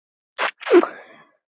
Og eflaust varlega áætlað.